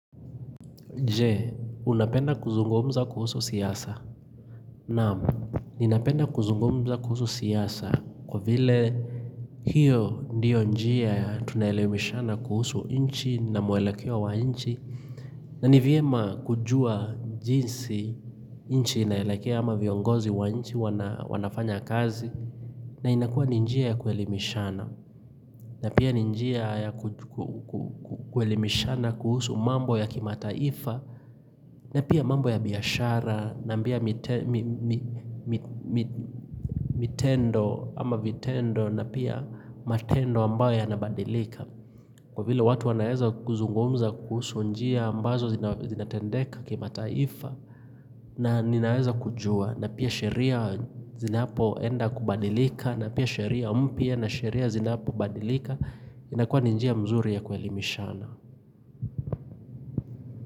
Je, unapenda kuzungumza kuhusu siasa? Naam, ninapenda kuzungumza kuhusu siasa kwa vile hiyo ndiyo njia ya tunayeleweshana kuhusu inchi na mwelekeo wa inchi na ni vyema kujua jinsi inchi inaelekea ama viongozi wa inchi wanafanya kazi na inakua ni njia ya kuhelimishana na pia ni njia ya kuelimishana kuhusu mambo ya kimataifa na pia mambo ya biashara, na mbia mitendo ama vitendo na pia matendo ambayo yanabadilika. Kwa vile watu wanaeza kuzungumza kuhusu njia ambazo zinatendeka kimataifa na ninaeza kujua. Na pia sheria zinapoenda kubadilika na pia sheria mpya na sheria zinapobadilika inakua ni njia mzuri ya kuelimishana.